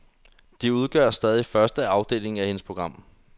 De udgør stadig første afdeling af hendes program.